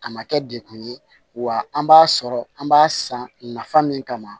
A ma kɛ dekun ye wa an b'a sɔrɔ an b'a san nafa min kama